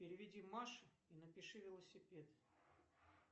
переведи маше и напиши велосипед